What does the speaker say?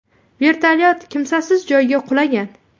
Vertolyot kimsasiz joyga qulagan.